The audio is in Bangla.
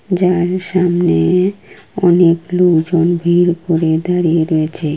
যার সামনে-এ অনেক লোকজন ভিড় করে দাঁড়িয়ে রয়েছে।